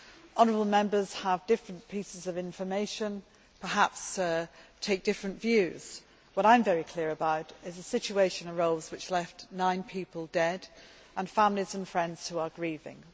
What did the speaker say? Honourable Members have different pieces of information, perhaps take different views, but what I am very clear about is that a situation arose which left nine people dead and families and friends who are grieving.